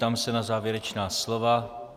Ptám se na závěrečná slova.